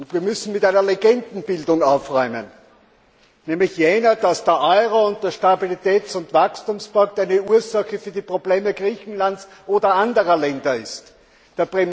Wir müssen mit einer Legendenbildung aufräumen, nämlich jener, dass der Euro und der Stabilitäts und Wachstumspakt Ursache für die Probleme Griechenlands oder anderer Länder sind.